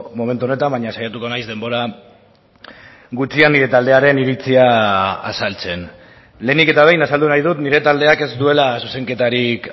momentu honetan baina saiatuko naiz denbora gutxian nire taldearen iritzia azaltzen lehenik eta behin azaldu nahi dut nire taldeak ez duela zuzenketarik